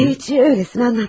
Heç elə-belə danışdım.